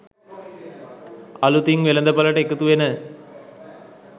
අලුතින් වෙළඳපළට එකතු වෙන